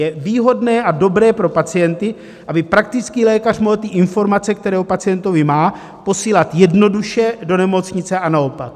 Je výhodné a dobré pro pacienty, aby praktický lékař mohl informace, které o pacientovi má, posílat jednoduše do nemocnice a naopak.